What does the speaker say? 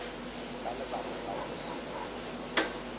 ka lebaka la go se